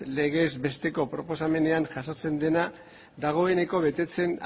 legez besteko proposamenean jasotzen dena dagoeneko betetzen